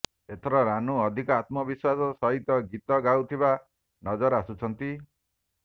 ଏଥର ରାନୁ ଅଧିକ ଆତ୍ମବିଶ୍ବାସ ସହିତ ଗୀତ ଗାଉଥିବା ନଜର ଆସୁଛନ୍ତି